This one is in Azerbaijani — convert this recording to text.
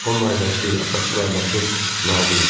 Onun ailəsi, atası və anası Nadir idi.